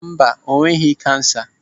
Mba, o nweghị kansa.